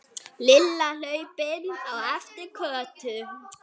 Lilla hlaupin á eftir Kötu.